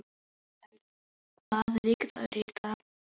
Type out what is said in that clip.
Mikael, hvaða vikudagur er í dag?